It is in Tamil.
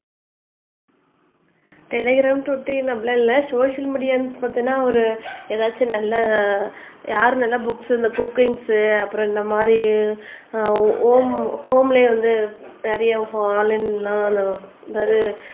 டெலிகிராம் டுவிட்டர் அப்டிலா இல்லை சோசியல் மீடியான்னு பார்த்தீங்கன்னா ஒரு ஏதாச்சும் நல்ல யாரு நல்லா புக்ஸ் இந்த குக்கிங்ஸ் அப்புறம் இந்த மாதிரி ஆஹ் ஹோம் ஹோம்லயே வந்து நிறைய